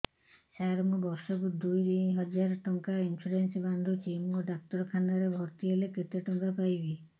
ସାର ମୁ ବର୍ଷ କୁ ଦୁଇ ହଜାର ଟଙ୍କା ଇନ୍ସୁରେନ୍ସ ବାନ୍ଧୁଛି ମୁ ଡାକ୍ତରଖାନା ରେ ଭର୍ତ୍ତିହେଲେ କେତେଟଙ୍କା ପାଇବି